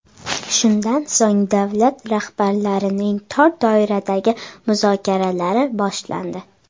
Shundan so‘ng davlat rahbarlarining tor doiradagi muzokaralari boshlandi.